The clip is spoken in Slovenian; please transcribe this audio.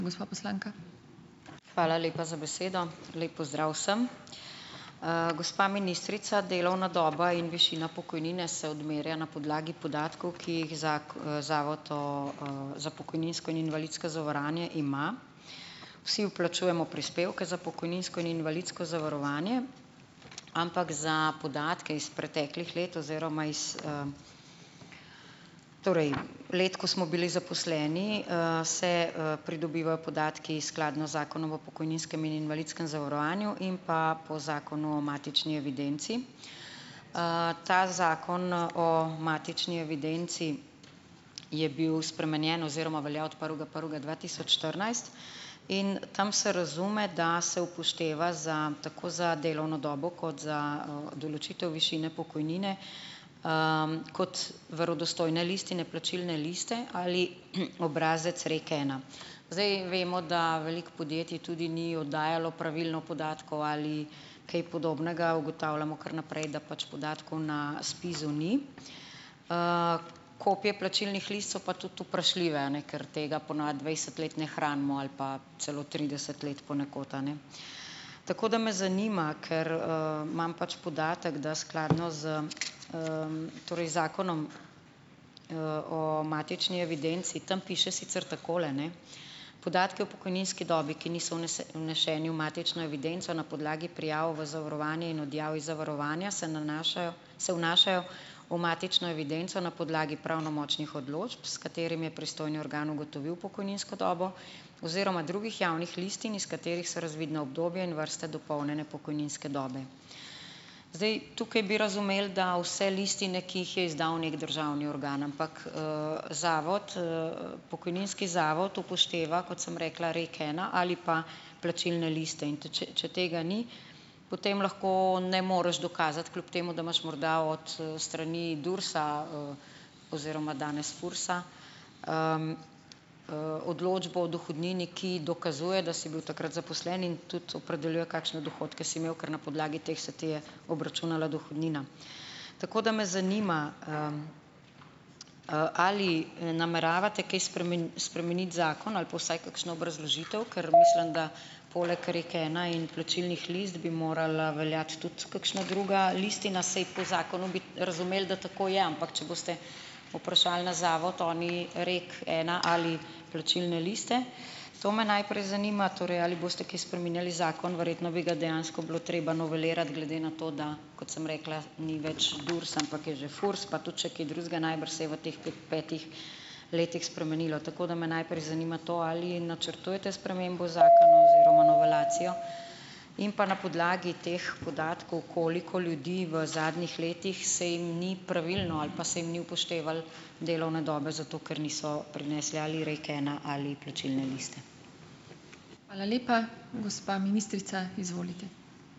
Hvala lepa za besedo. Lep pozdrav vsem! Gospa ministrica, delovna doba in višina pokojnine se odmerja na podlagi podatkov, ki jih Zavod za pokojninsko in invalidsko zavarovanje ima. Vsi vplačujemo prispevke za pokojninsko in invalidsko zavarovanje, ampak za podatke iz preteklih let oziroma iz, torej let, ko smo bili zaposleni, se, pridobivajo podatki skladno z Zakonom o pokojninskem in invalidskem zavarovanju in pa po Zakonu o matični evidenci. Ta zakon o matični evidenci je bil spremenjen oziroma velja od prvega prvega dva tisoč štirinajst in tam se razume, da se upošteva za tako za delovno dobo, kot za, določitev višine pokojnine, kot verodostojne listine plačilne liste, ali, obrazec REKena. Zdaj vemo, da veliko podjetij tudi ni oddajalo pravilno podatkov, ali kaj podobnega, ugotavljamo kar naprej, da pač podatkov na SPIZ-u ni. Kopije plačilnih list so pa tudi vprašljive, a ne, ker tega po navadi dvajset let ne hranimo, ali pa celo trideset let ponekod, a ne. Tako, da me zanima, ker, imam pač podatek, da skladno s, torej Zakonom, o matični evidenci, tam piše sicer takole, ne: "Podatki o pokojninski dobi, ki niso vneseni v matično evidenco na podlagi prijav v zavarovanje in odjav iz zavarovanja, se nanašajo se vnašajo v matično evidenco na podlagi pravnomočnih odločb, s katerimi je pristojni organ ugotovil pokojninsko dobo, oziroma drugih javnih listin, iz katerih so razvidna obdobja in vrste dopolnjene pokojninske dobe." Zdaj, tukaj bi razumel, da vse listine, ki jih je izdal neki državni organ, ampak, zavod, pokojninski zavod upošteva, kot sem rekla REKena ali pa plačilne liste, in tudi če če tega ni, potem lahko ne moreš dokazati, kljub temu, da imaš morda od, strani DURS-a, oziroma danes FURS-a, odločbo o dohodnini, ki dokazuje, da si bil takrat zaposlen in tudi opredeljuje, kakšne dohodke si imel, ker na podlagi teh se ti je obračunala dohodnina. Tako, da me zanima, ali nameravate kaj spremeniti zakon, ali pa vsaj kakšno obrazložitev, ker mislim, da poleg REKena in plačilnih list bi morala veljati tudi kakšna druga listina. Saj po zakonu bi razumel, da tako je, ampak če boste vprašali na zavod, oni REKena ali plačilne liste, to me najprej zanima. Torej, ali boste kaj spreminjali zakon? Verjetno bi ga dejansko bilo treba novelirati glede na to, da, kot sem rekla, ni več DURS, ampak je že FURS, pa tudi še kaj drugega najbrž se je v teh petih letih spremenilo, tako da me najprej zanima to, ali načrtujete spremembo zakona oziroma novelacijo. In pa na podlagi teh podatkov, koliko ljudi v zadnjih letih se jim ni pravilno, ali pa se jim ni upoštevalo delovne dobe zato, ker niso prinesli ali REKena ali plačilne liste?